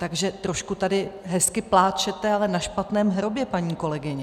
Takže trošku tady hezky pláčete, ale na špatném hrobě, paní kolegyně.